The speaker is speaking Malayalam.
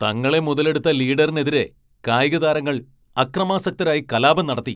തങ്ങളെ മുതലെടുത്ത ലീഡറിനെതിരെ കായിക താരങ്ങൾ അക്രമാസക്തരായി കലാപം നടത്തി.